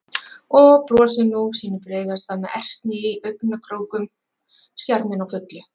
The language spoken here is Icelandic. Og brosir nú sínu breiðasta með ertni í augnakrókum, sjarminn á fullu.